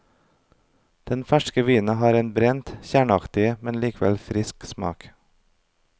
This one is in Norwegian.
Den ferske vinen har en brent, kjerneaktig, men likevel frisk smak.